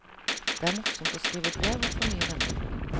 Det er morsomt å skrive brev og å få nye venner.